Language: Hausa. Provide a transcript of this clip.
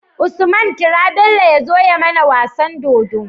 Usman kira Bello yazo ya mAna wasan dodo